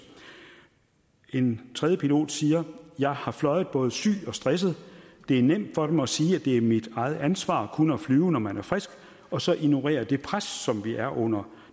en tredje pilot siger jeg har fløjet både syg og stresset det er nemt for dem at sige at det er mit eget ansvar kun at flyve når man er frisk og så ignorere det pres som vi er under